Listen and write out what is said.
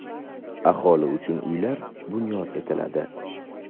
aholi uchun uylar bunyod etiladi.